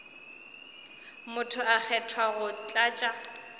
motho a kgethwa go tlatša